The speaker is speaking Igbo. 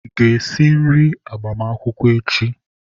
Ị ga-esi nri agbamakwụkwọ echi!